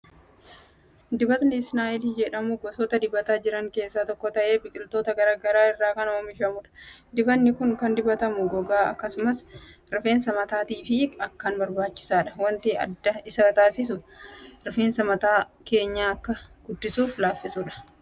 Dibatni isnee'il jedhamu gosoota dibataa jiran keessa tokko ta'ee biqiltoota garaagaraa irraa kan oomishamudha. dibanni kun kan dibatamu gogaa, akkasumas rifeensa mataatiif akkaan barbaachisaadha wanti adda isaa taasisu rifeensa mataa keenya akkaan guddisuufi laaffisuudha.